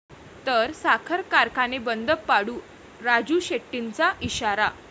...तर साखर कारखाने बंद पाडू, राजू शेट्टींचा इशारा